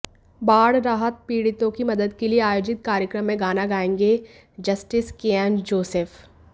बाढ़ राहत पीड़ितों की मदद के लिए आयोजित कार्यक्रम में गाना गाएंगे जस्टिस केएम जोसेफ